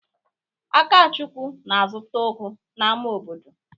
Akachukwu na-azụta ugu n'ámá obodo?